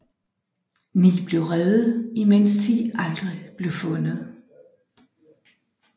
Ni blev reddet imens ti aldrig blev fundet